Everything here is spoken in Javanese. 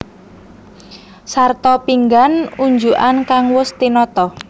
Sarta pinggan unjukan kang wus tinata